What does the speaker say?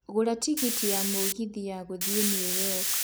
gũra tigiti ya mũgithi ya gũthiĩ New York City